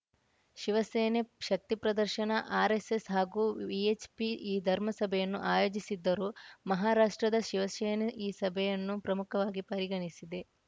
ಶಿವಸೇನೆ ಶಕ್ತಿಪ್ರದರ್ಶನ ಆರ್‌ಎಸ್‌ಎಸ್‌ ಹಾಗೂ ವಿಎಚ್‌ಪಿ ಈ ಧರ್ಮಸಭೆಯನ್ನು ಆಯೋಜಿಸಿದ್ದರೂ ಮಹಾರಾಷ್ಟ್ರದ ಶಿವಶೇನೆ ಈ ಸಭೆಯನ್ನು ಪ್ರಮುಖವಾಗಿ ಪರಿಗಣಿಸಿದೆ